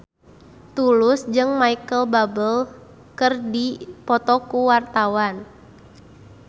Tulus jeung Micheal Bubble keur dipoto ku wartawan